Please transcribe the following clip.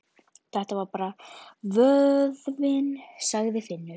Þetta er bara vöðvinn, sagði Finnur.